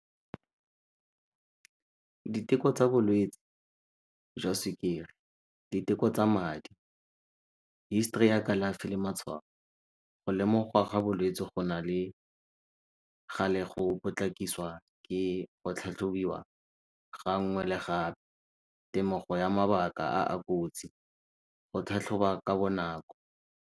Diteko tsa bolwetsi jwa sukiri, diteko tsa madi, history ya kalafi le matshwafo. Go lemogiwa ga bolwetsi go na le ga le go potlakisiwa ke go tlhatlhobiwa ga nngwe le gape, temogo ya mabaka a a kotsi, go tlhatlhoba ka bonako.